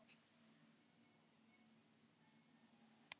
Það er ekkert til að segja.